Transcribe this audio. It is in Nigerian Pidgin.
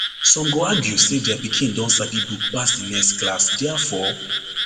some go argue say dia pikin don sabi book pass di next class diafore